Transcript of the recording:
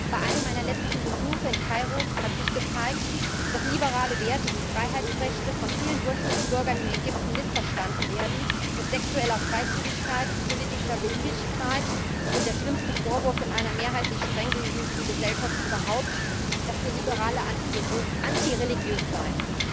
Bei einem meiner letzten Besuche in Kairo hat sich gezeigt, dass liberale Werte wie Freiheitsrechte von vielen Durchschnittsbürgern in Ägypten missverstanden werden als sexuelle Freizügigkeit, politische Beliebigkeit und der schlimmste Vorwurf in einer mehrheitlich strenggläubigen Gesellschaft überhaupt dass wir Liberale anti religiös seien.